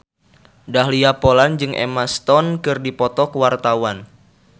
Dahlia Poland jeung Emma Stone keur dipoto ku wartawan